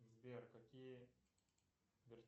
сбер какие